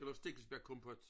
Eller stikkelsbærkompot